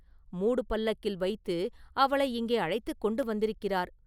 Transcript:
மூடுபல்லக்கில் வைத்து அவளை இங்கே அழைத்துக் கொண்டு வந்திருக்கிறார்.